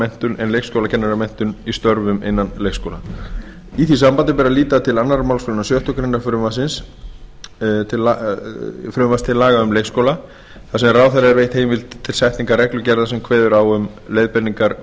menntun en leikskólakennaramenntun í störfum innan leikskólanna í því sambandi ber að líta til önnur málsgrein sjöttu greinar frumvarps til laga um leikskóla þar sem ráðherra er veitt heimild til setningar reglugerða sem kveður á um leiðbeiningar